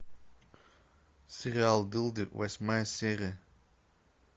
сериал дылды восьмая серия